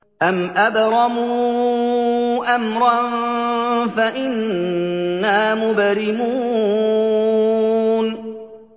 أَمْ أَبْرَمُوا أَمْرًا فَإِنَّا مُبْرِمُونَ